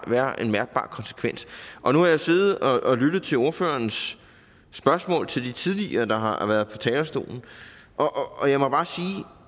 være en mærkbar konsekvens og nu har jeg siddet og lyttet til ordførerens spørgsmål til de tidligere ordførere der har været på talerstolen og jeg må bare